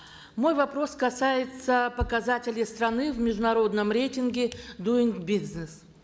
мой вопрос касается показателей страны в международном рейтинге дуин бизнес